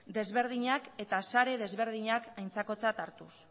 desberdinak eta sare desberdinak aintzakotzat hartuz